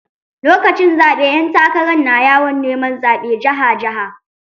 Lokacin zaɓe ƴan takarar na yawon neman zaɓe jiha jiha.